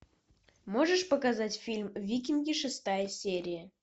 можешь показать фильм викинги шестая серия